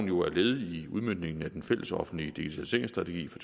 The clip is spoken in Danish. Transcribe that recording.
jo er et led i udmøntningen af den fællesoffentlige digitaliseringsstrategi for